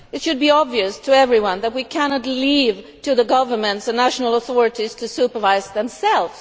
It should be obvious to everyone that we cannot leave it to governments and national authorities to supervise themselves.